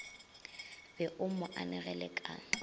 be o mo anegele ka